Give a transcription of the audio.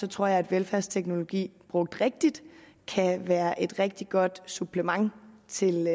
tror jeg at velfærdsteknologi brugt rigtigt kan være et rigtig godt supplement til